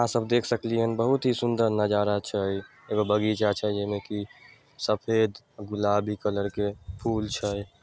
आहाँ सब देख सकलिये बहुत ही सुंदर नजारा छै एगो बगीचा छै जई में कि सफेद गुलाबी कलर के फूल छै।